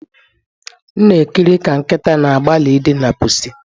M na-ekiri ka nkịta na-agbalị idina pusi